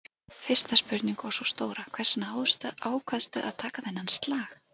Fyrsta spurning og sú stóra, hvers vegna ákvaðstu að taka þennan slag?